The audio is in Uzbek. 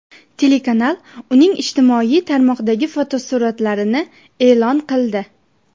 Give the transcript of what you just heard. Telekanal uning ijtimoiy tarmoqdagi fotosuratlarini e’lon qildi.